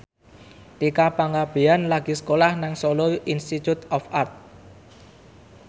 Tika Pangabean lagi sekolah nang Solo Institute of Art